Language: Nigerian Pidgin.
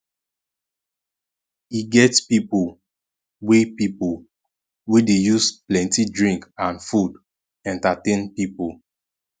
e get pipo wey pipo wey dey use plenty drink and food entertain pipo